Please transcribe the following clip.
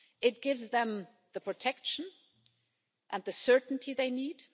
It gives them the protection and the certainty they need.